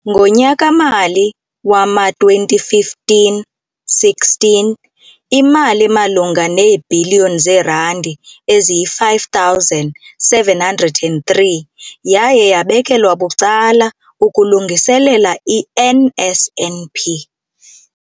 Ngonyaka-mali wama-2015-16, imali emalunga neebhiliyoni zeerandi eziyi-5 703 yaye yabekelwa bucala ukulungiselela i-NSNP.